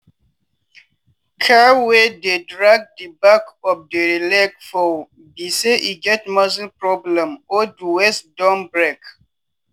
cow wey dey drag di back of dere leg fit be say e get muscle problem or di waist don break.